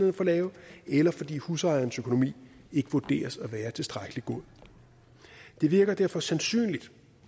er for lav eller fordi husejerens økonomi ikke vurderes at være tilstrækkelig god det virker derfor sandsynligt